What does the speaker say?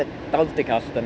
dáldið kalt en